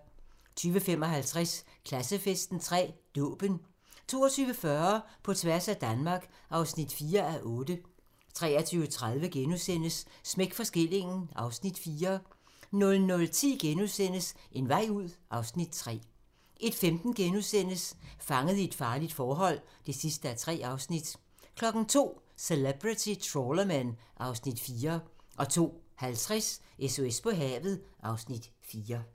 20:55: Klassefesten 3: Dåben 22:40: På tværs af Danmark (4:8) 23:30: Smæk for skillingen (Afs. 4)* 00:10: En vej ud (Afs. 3)* 01:15: Fanget i et farligt forhold (3:3)* 02:00: Celebrity Trawlermen (Afs. 4) 02:50: SOS på havet (Afs. 4)